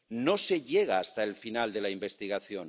No se llega hasta el final de la investigación.